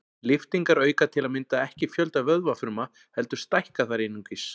Lyftingar auka til að mynda ekki fjölda vöðvafruma heldur stækka þær einungis.